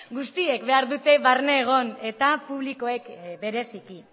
guztiek behar dute barne egon eta publikoek bereziki